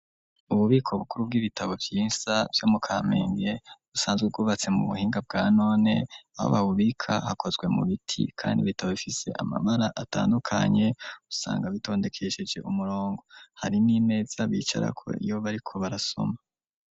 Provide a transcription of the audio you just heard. Ububiko bukuru bw'ibitabo vyinsa Vyo mu kampenge, busanzwe Bubatse mu buhinga bwa none, aho babubika hakozwe mu biti, kandi bitabo bifise amabara atandukanye, usanga bitondekesheje umurongo hari n'imeza bicarako iyo bariko barasoma.